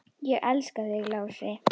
Ég elska þig, Lási.